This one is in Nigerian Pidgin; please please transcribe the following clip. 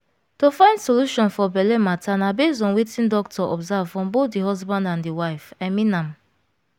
to find solution for belle matter na base on wetin doctor observe from bothe the husband and the wife i mean am